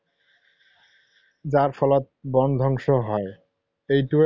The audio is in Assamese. যাৰ ফলত বনধ্বংস হয়। এইটোৱে